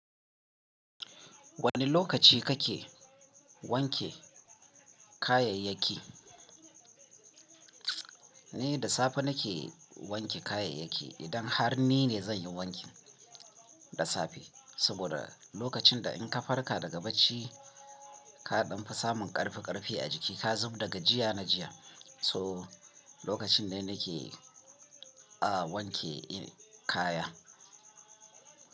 Wane lokaci kake wanke kayayyaki? Ni da safe nake wanke kayayyaki. Idan har ni ne zan yi wankin, da safe. Saboda lokacin da in ka farka daga bacci, ka ɗan fi samun ƙarfi ƙarfi a jiki, ka zub daga jiya na jiya. So lokacin ne nake, a, wanke kaya.